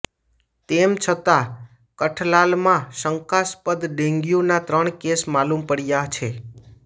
તેમ છતાં કઠલાલમાં શંકાસ્પદ ડેન્ગ્યુના ત્રણ કેસ માલુમ પડયા છે